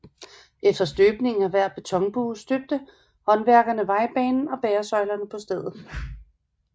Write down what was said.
Efter støbningen af hver betonbue støbte håndværkerne vejbanen og bæresøjlerne på stedet